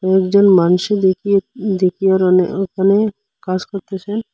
দু-একজন মানুষে দেখি ওখানে কাজ করতেছে।